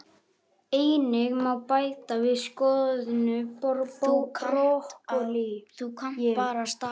Einnig má bæta við soðnu brokkólíi.